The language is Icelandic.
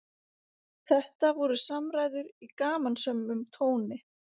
Þetta voru samræður í gamansömum tóni